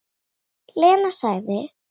Lena sagði